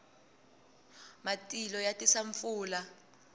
matilo ma tisa pfula